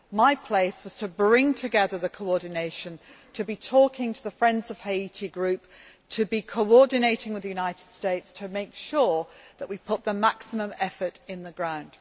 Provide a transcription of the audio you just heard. My place was to bring together the coordination, to be talking to the Friends of Haiti Group, to be coordinating with the United States to make sure that we put in the maximum effort on the ground.